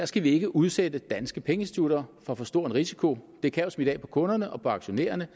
skal ikke udsætte de danske pengeinstitutter for en for stor risiko det kan jo smitte af på kunderne og aktionærerne